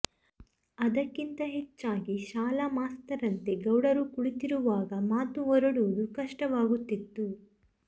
ಅದಕ್ಕಿಂತ ಹೆಚ್ಚಾಗಿ ಶಾಲಾ ಮಾಸ್ತರಂತೆ ಗೌಡರು ಕುಳಿತಿರುವಾಗ ಮಾತು ಹೊರಡುವುದೂ ಕಷ್ಟವಾಗುತ್ತಿತ್ತು